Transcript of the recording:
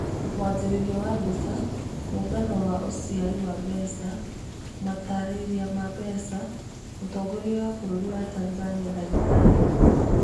Mwanjĩrĩrio wa mbica, Mũngano wa ũcaria wa mbeca. Matarĩria ma mbica. Mũtongoria wa bũrũri wa Tanzania dagĩtarĩ.